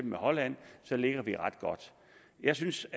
med holland ligger vi ret godt jeg synes